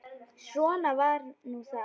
Svona var nú það.